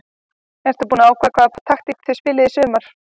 Ertu búin að ákveða hvaða taktík þið spilið í sumar?